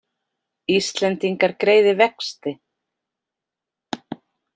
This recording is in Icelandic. Íslendingar greiði vexti